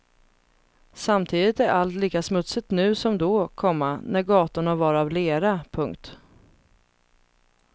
Samtidigt är allt lika smutsigt nu som då, komma när gatorna var av lera. punkt